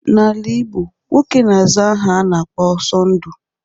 N'ala igbo nwoke n'aza aha a na-akpọ Ọsondu.